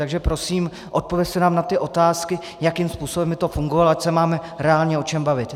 Takže prosím, odpovězte nám na ty otázky, jakým způsobem by to fungovalo, ať se máme reálně o čem bavit.